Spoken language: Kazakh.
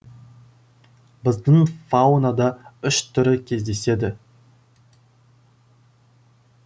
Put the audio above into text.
біздің фаунада үш түрі кездеседі